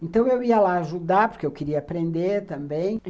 Então, eu ia lá ajudar, porque eu queria aprender também.